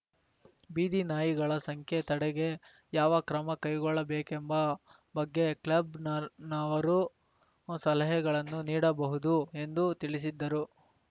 ಬೀದಿನಾಯಿಗಳ ಸಂಖ್ಯೆ ತಡೆಗೆ ಯಾವ ಕ್ರಮಕೈಗೊಳ್ಳಬೇಕೆಂಬ ಬಗ್ಗೆ ಕ್ಲಬ್‌ನರ್ ನವರು ಸಲಹೆಗಳನ್ನು ನೀಡಬಹುದು ಎಂದು ತಿಳಿಸಿದ್ದರು